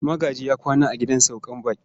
Magaji ya kwana a gidan sauka baƙin.